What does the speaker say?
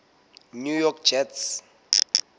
new york jets